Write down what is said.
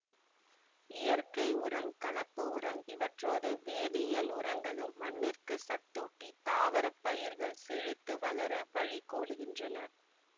இயற்கை உரம் கலப்பு உரம் இவற்றோடு வேதியியல் உரங்களும் மண்ணிற்குச் சத்தூட்டி தாவரப் பயிர்கள் செழித்து வளர வழி கோலுகின்றன